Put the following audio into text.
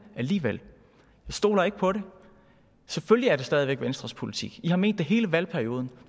alligevel jeg stoler ikke på det selvfølgelig er det stadig væk venstres politik i har ment det hele valgperioden